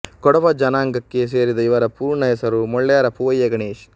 ಕೊಡವ ಜನಾಂಗಕ್ಕೆ ಸೇರಿದ ಇವರ ಪೂರ್ಣ ಹೆಸರು ಮೊಳ್ಳೆರ ಪೂವಯ್ಯ ಗಣೇಶ್